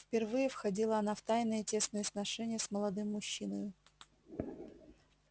впервые входила она в тайные тесные сношения с молодым мужчиной